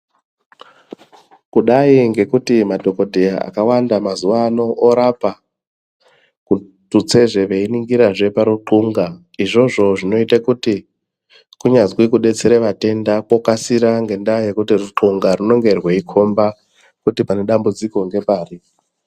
Kudai ngekuti madhokodheya akwanda mazuva ano orapa tudzezve veiningira parukunxa izvozvo zvinoita kuti kunyazi kudetsera vatenda kokasira ngenda yekuti ruthxunga rinenge reikomba kuti pane dambudziko ngepari.